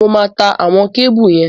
Mo máa ta àwọn kébù yẹn